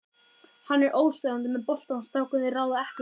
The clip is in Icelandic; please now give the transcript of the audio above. Hann er óstöðvandi með boltann, strákarnir ráða ekkert við hann.